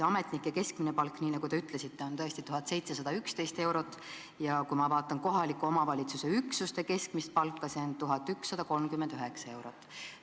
Ametnike keskmine palk, nagu te ütlesite, on tõesti 1711 eurot, aga kui ma vaatan kohaliku omavalitsuse üksuste keskmist palka, siis näen, et see on 1139 eurot.